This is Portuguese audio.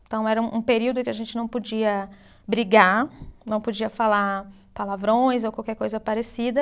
Então era um um período que a gente não podia brigar, não podia falar palavrões ou qualquer coisa parecida.